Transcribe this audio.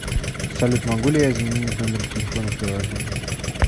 салют могу ли я изменить номер телефона в приложении